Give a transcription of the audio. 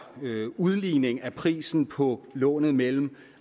udligning af prisen på lånet mellem